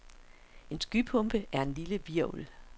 En skypumpe er en lille hvirvel.